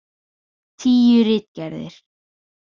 Tíu ritgerðir.